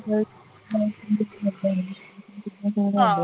ਹਾਂ